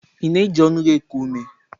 Ị na-eji ọnụ gị eku ume?